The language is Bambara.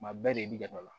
Kuma bɛɛ de dɔ la